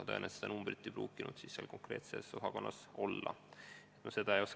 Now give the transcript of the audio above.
Tõenäoliselt seda numbrit seal konkreetses osakonnas käepärast ei olnud.